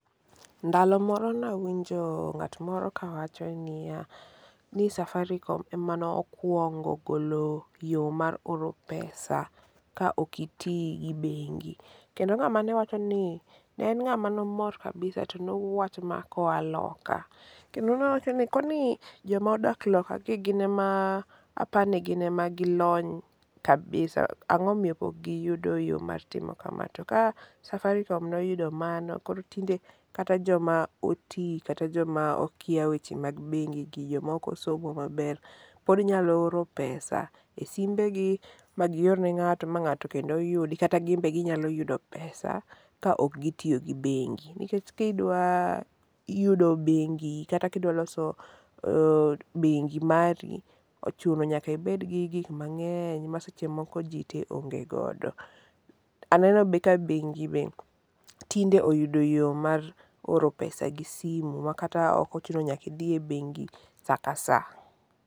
Ndalo moro nawinjo ng'at moro kawacho niya, ni safaricom ema nokwongo golo yo mar oro pesa ka ok iti gi bengi, kendo ng'ama ne wacho ni ne en ng'ama nomor kabisa to nowacho ma koa loka, kendo nowacho ni koni jomadak lokagi gin ema apani gin ema gilony kabisa, ang'o miyo pok giyud yo mar timo kama, to ka Safaricom noyudo mano koro tinde kata joma oti kata joma okia weche mag bengi, jo moko somo maber pod nyalo oro pesa e simbegi ma gior ne ng'ato ma ng'ato kendo yudi kaka gin be ginyalo yudo pesa ka ok gitiyo gi bengi, nikech kidwa yudo bengi kata kidwa loso bengi mari, ochuno nyaka ibedgi gik mang'eny ma seche moko ji te onge godo. Aneno be ka bengi be tinde oyudo yo mar oro pesa gi simu ma kata ok ochuno nyaka idhi e bengi sa ka sa.